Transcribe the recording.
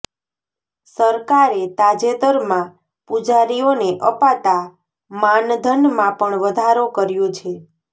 સરકારે તાજતેરમાં પૂજારીઓને અપાતાં માનધનમાં પણ વધારો કર્યો છે